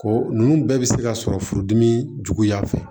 Ko nunnu bɛɛ bɛ se ka sɔrɔ furudimi juguya fɛ